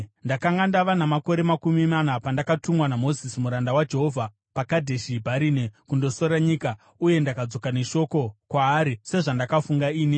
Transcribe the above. Ndakanga ndava namakore makumi mana pandakatumwa naMozisi muranda waJehovha, paKadheshi Bharinea kundosora nyika, uye ndakadzoka neshoko kwaari sezvandakafunga ini,